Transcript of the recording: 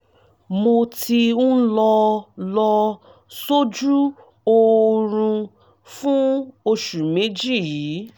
mo ti ń lọ lọ sójú oorun fún oṣù méjì yìí